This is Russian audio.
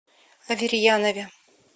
аверьянове